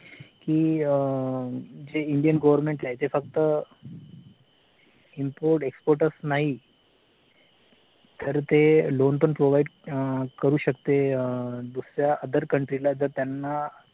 कि जे Indian government आहे ते फक्त iMport export च नाही तर ते loan पण provide करू शकते दुसऱ्या अं OTHER COUNTRY ला जर त्यांना